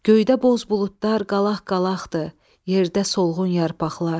Göydə boz buludlar qalaq-qalaqdır, yerdə solğun yarpaqlar.